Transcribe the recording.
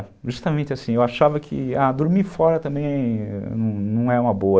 Justamente assim, eu achava que, ah, dormir fora também não é uma boa.